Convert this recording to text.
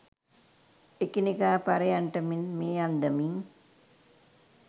එකිනෙකා පරයන්නට මෙන් මේ අන්දමින්